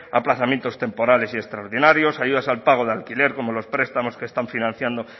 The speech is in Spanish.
aplazamientos temporales y extraordinarios ayudas al pago de alquiler como los prestamos que están financiando